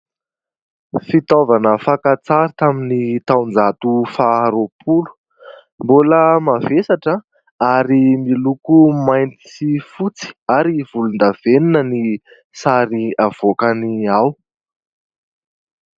Fitaovana fakantsary tamin'ny taon-jato faharoapolo. Mbola mavesatra ary miloko mainty sy fotsy ary volondavenina ny sary avoakany ao.